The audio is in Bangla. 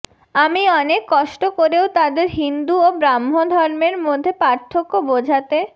আমি অনেক কষ্ট করেও তাদের হিন্দু ও ব্রাহ্মধর্মের মধ্যে পার্থক্য বোঝাতে